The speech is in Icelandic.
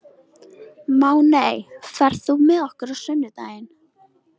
Máney, ferð þú með okkur á sunnudaginn?